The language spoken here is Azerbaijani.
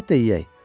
Əlbəttə yeyək.